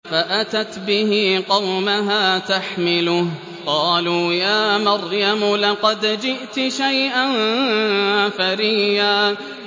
فَأَتَتْ بِهِ قَوْمَهَا تَحْمِلُهُ ۖ قَالُوا يَا مَرْيَمُ لَقَدْ جِئْتِ شَيْئًا فَرِيًّا